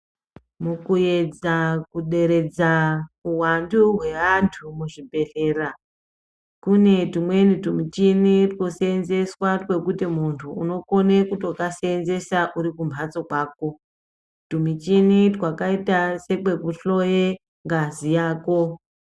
Mukuedza kuderedza uwandu hweantu muzvibhedhlera kune tumweni tumichini twosenzeswa twokuti muntu unokone kutokaseenzesa urikumhatso kwako. Tumichini twakaite setwekuhloye ngazi yako.